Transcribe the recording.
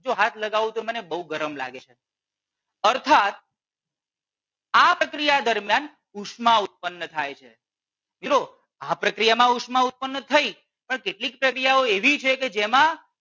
જો હાથ લાગવું તો મને બહુ ગરમ લાગે છે અર્થાત આ પ્રક્રિયા દરમિયાન ઉષ્મા ઉત્પન્ન થાય છે જુઓ આ પ્રક્રિયા માં ઉષ્મા ઉત્પન્ન થઈ પણ કેટલીક પ્રક્રિયાઓ એવી છે કે જેમાં